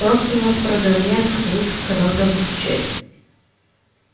просто у нас программеров эта выставка раз в году случается